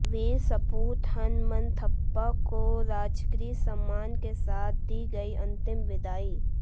वीर सपूत हनमनथप्पा को राजकीय सम्मान के साथ दी गई अंतिम विदाई